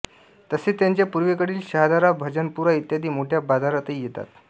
तसे त्याच्या पूर्वेकडील शहादारा भजनपुरा इत्यादी मोठ्या बाजारातही येतात